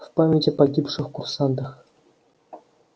в память о погибших курсантах